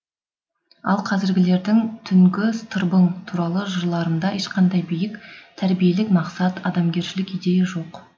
ал қазіргілердің түнгі тырбың туралы жырларында ешқандай биік тәрбиелік мақсат адамгершілік идея жоқ